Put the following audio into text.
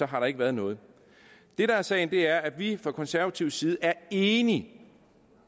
har der ikke været noget det der er sagen er at vi fra konservativ side er enige